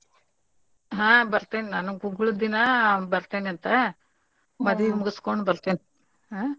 ಹಾ ಬರ್ತೇನ್ ನಾನೂ ಗುಗ್ಗಳ್ದ್ ದಿನಾ ಬರ್ತೇನಂತ ಮದುವಿ ಮುಗುಸಕೋಂಡ್ ಬರ್ತೇನ್ ಹಾ.